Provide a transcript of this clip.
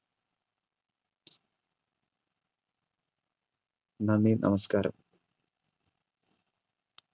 നന്ദി, നമസ്കാരം.